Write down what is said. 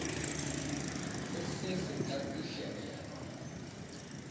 le se se ka fihelelwa